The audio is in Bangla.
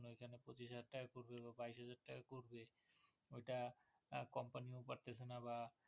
বা বাইশহাজার টাকা করবে ওটা কোম্পানি ও পারতেছেনা বা